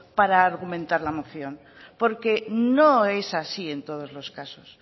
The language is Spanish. para argumentar la moción porque no es así en todos los casos